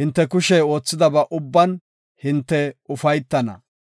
hinte kushey oothidaba ubban hinte ufaytana.